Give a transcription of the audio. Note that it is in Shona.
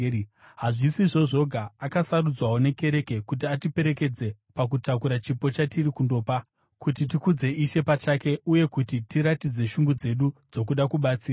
Hazvisizvo zvoga, akasarudzwawo nekereke kuti atiperekedze pakutakura chipo chatiri kundopa, kuti tikudze Ishe pachake uye kuti tiratidze shungu dzedu dzokuda kubatsira.